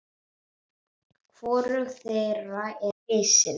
Hvorug þeirra er risin.